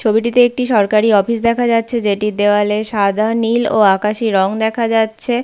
ছবিটিতে একটি সরকারি অফিস দেখা যাচ্ছে যেটির দেয়ালে সাদা নীল ও আকাশি রং দেখা যাচ্ছে।